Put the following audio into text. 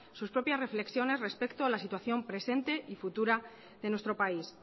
sus propias reflexiones respecto a la situación presente y futura de nuestro país